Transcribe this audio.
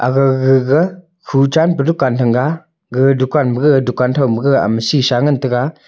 gag gagga khu chanpe dukaan thanga gag dukaan ma gag dukaan thauma ama sheesha ngantaga.